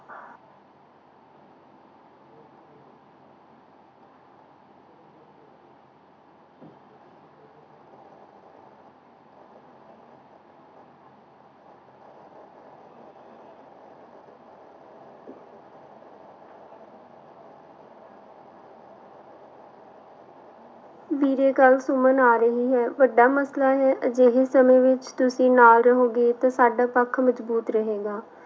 ਵੀਰੇ ਕੱਲ੍ਹ ਸੁਮਨ ਆ ਰਹੀ ਹੈ ਵੱਡਾ ਮਸਲਾ ਹੈ, ਅਜਿਹੇ ਸਮੇਂ ਵਿੱਚ ਤੁਸੀਂ ਨਾਲ ਰਹੋਗੇ ਤਾਂ ਸਾਡਾ ਪੱਖ ਮਜ਼ਬੂਤ ਰਹੇਗਾ।